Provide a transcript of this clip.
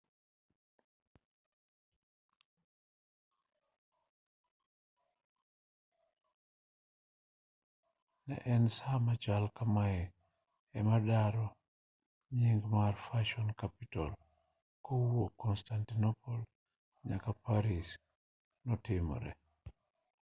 ne en saa machal kamae ema daro nying mar fashion capital kowuok constantinople nyaka paris notimie